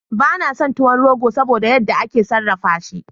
Bana son tuwon rogo saboda yan da ake sarrafa shi